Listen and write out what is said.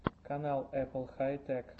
канал эппл хай тэк